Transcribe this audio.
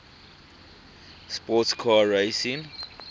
sports car racing